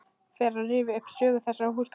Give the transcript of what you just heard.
Fer að rifja upp sögu þessara húsgagna.